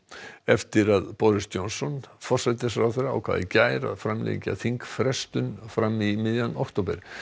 eftir að Boris Johnson forsætisráðherra ákvað í gær að framlengja þingfrestun fram í miðjan október